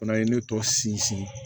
O fana ye ne tɔ sinsin